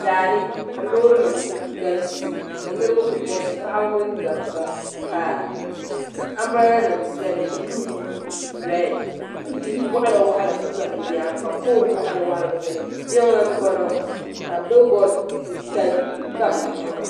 Daani ka loorinim kuli galisi ka Niribi kuli galisi paɣaba mini dabba ka ambiraadanim beni buluu mini red ka yi waɣala waɣala ku za bɛ nyaaŋa ka pool waɣala waɣala kuli zaya jiŋli m-bo ŋɔ ka bilibod titali kuli tam di zuɣu.